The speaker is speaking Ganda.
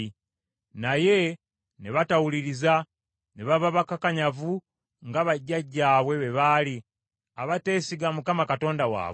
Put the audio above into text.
Naye ne batawuliriza, ne baba bakakanyavu nga bajjajjaabwe bwe baali, abateesiga Mukama Katonda waabwe.